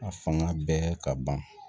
A fanga bɛɛ ka ban